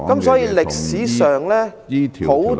所以，歷史上很多......